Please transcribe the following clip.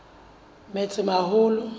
metsimaholo